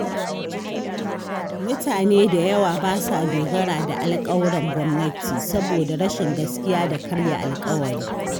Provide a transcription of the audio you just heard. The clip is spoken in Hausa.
Mutane da yawa ba sa dogara da alƙawuran gwamnati saboda rashin gaskiya da karya alƙawari.